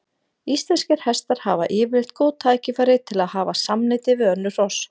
Íslenskir hestar hafa yfirleitt góð tækifæri til að hafa samneyti við önnur hross.